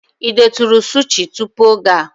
Ị detụrụ sushi tupu oge a?